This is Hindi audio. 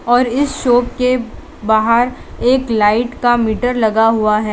और इस शॉप के बाहर एक लाइट का मीटर लगा हुआ है।